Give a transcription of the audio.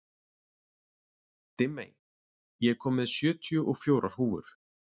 Dimmey, ég kom með sjötíu og fjórar húfur!